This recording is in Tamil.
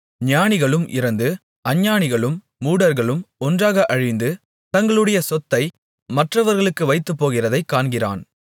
ஞானிகளும் இறந்து அஞ்ஞானிகளும் மூடர்களும் ஒன்றாக அழிந்து தங்களுடைய சொத்தை மற்றவர்களுக்கு வைத்துப்போகிறதைக் காண்கிறான்